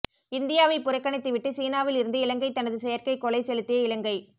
இந்தியாவை புறக்கணித்துவிட்டு சீனாவில் இருந்து இலங்கை தனது செயற்கை கோளை செலுத்திய இலங்கை